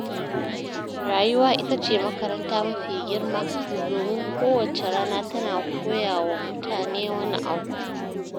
Rayuwa ita ce makaranta mafi girma, domin kowacce rana tana koya wa mutune wani abu.